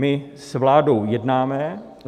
My s vládou jednáme.